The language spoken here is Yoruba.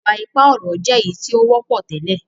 iwa-ipa ọrọ jé èyítí o wọpọ tẹlẹ.